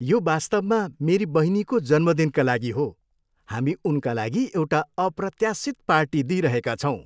यो वास्तवमा मेरी बहिनीको जन्मदिनका लागि हो। हामी उनका लागि एउटा अप्रत्याशित पार्टी दिइरहेका छौँ।